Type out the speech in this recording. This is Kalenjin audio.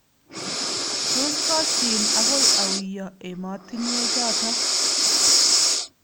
Tos koshin agoi auyo emotinwechoto ?